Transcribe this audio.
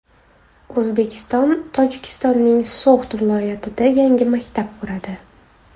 O‘zbekiston Tojikistonning So‘g‘d viloyatida yangi maktab quradi.